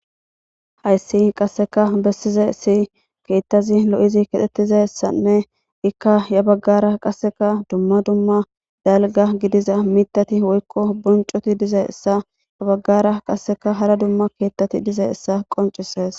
Hayssi qasseka bessize si keethtazi lo7izi kedhettizassanne ikka ya baggara qasseka dumma dumma dalga gidiza mitati woykko boncoti diza essa ya baggara qasseka hara dumma keettati diza issa qoncisees.